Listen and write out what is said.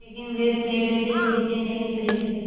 लेकिन वे पेड़ से नीचे नहीं उतरे